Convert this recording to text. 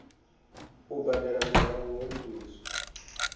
u badela murahu ho livhiswa